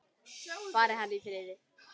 Fari hann í friði.